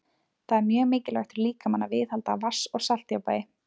Það er mjög mikilvægt fyrir líkamann að viðhalda vatns- og saltjafnvægi.